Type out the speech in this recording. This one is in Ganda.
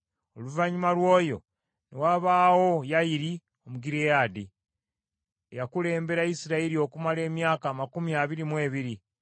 Oluvannyuma lw’oyo ne wabaawo Yayiri Omugireyaadi, eyakulembera Isirayiri okumala emyaka amakumi abiri mu ebiri.